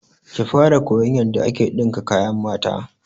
Ki fara koyan yanda ake ɗinka kayan mata!